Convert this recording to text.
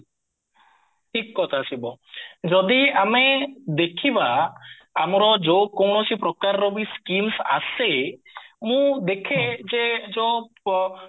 ଠିକ କଥା ଶିବ ଯଦି ଆମେ ଆମର ଯୋଉ କୌଣସି ପ୍ରକାରରବି schemes ଆସେ ମୁଁ ଦେଖେ ଯେ ଯୋଉଁ ପ